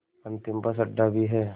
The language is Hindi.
अंतिम बस अड्डा भी है